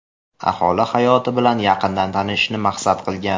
aholi hayoti bilan yaqindan tanishishni maqsad qilgan.